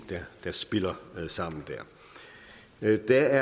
der spiller sammen der der